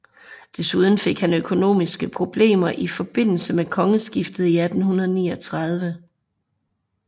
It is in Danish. Desuden fik han økonomiske problemer i forbindelse med kongeskiftet i 1839